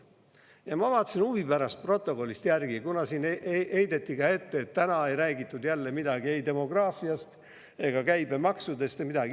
Ja ma vaatasin huvi pärast protokollist järgi, kuna siin heideti ette, et täna ei räägitud jälle midagi ei demograafiast ega käibemaksudest.